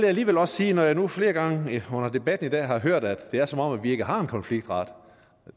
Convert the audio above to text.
alligevel også sige når jeg nu flere gange under debatten i dag har hørt at det er som om vi ikke har en konfliktret